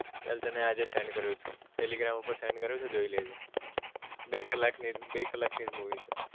ચલ તને આજ send કરું છુ telegram ઉપર send કરું છુ જોઈ લે જે બે કલાક ની જ બે કલાક ની જ movie છે